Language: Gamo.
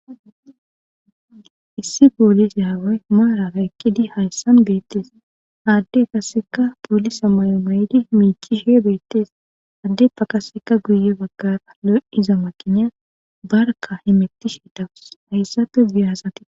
issi poolise haway maaraa ekkidi hayssan beettees haadde kasseka poolisa mayomayidi miichishe beettees addeppa kasseka guye baggara lo77iza maqiniya barka himettishi dawus hayssafe giyahasati